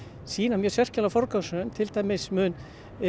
sýna mjög sérkennilega forgangsröðun til dæmis mun